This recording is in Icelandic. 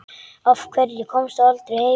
Af hverju komstu aldrei heim?